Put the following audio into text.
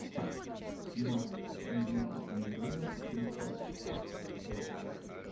матч английской премьер лиги кристал пэлас